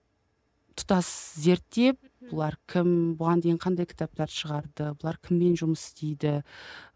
тұтас зерттеп бұлар кім бұған дейін қандай кітаптар шығарды бұлар кіммен жұмыс істейді